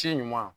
Ci ɲuman